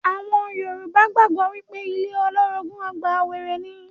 Àwọn Yorùbá gbàgbọ́ pé ilé olórogùn ọgbà wèrè ní.